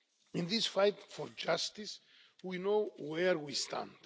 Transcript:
In this fight for justice, we know where we stand.